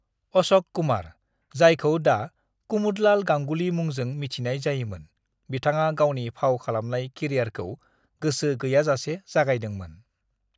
"अश'क कुमार, जायखौ दा कुमुदलाल गांगुली मुंजों मिथिनाय जायोमोन, बिथाङा गावनि फाव खालामनाय केरियारखौ गोसो गैयाजासे जागायदोंमोन।"